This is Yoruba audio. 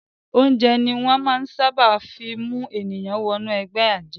Oúnjẹ ni wọ́n ṣábà máa ń fí mú ènìyàn wọ ẹgbẹ́ àjẹ́.